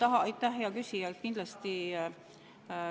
Aitäh, hea küsija!